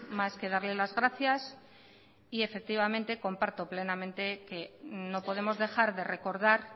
más que darle las gracias y efectivamente comparto plenamente que no podemos dejar de recordar